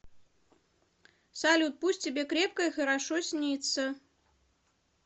салют пусть тебе крепко и хорошо снится